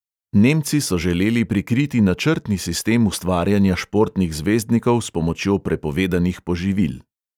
Nemci so želeli prikriti načrtni sistem ustvarjanja športnih zvezdnikov s pomočjo prepovedanih poživil.